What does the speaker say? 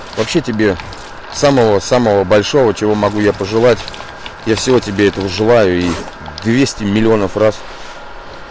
вообще тебе самого самого большого чего могу я пожелать я всего тебе этого желаю и двести миллионов раз